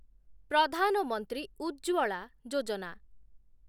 ପ୍ରଧାନ ମନ୍ତ୍ରୀ ଉଜ୍ଜ୍ୱଳା ଯୋଜନା